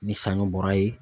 Ni sanɲɔ bɔra yen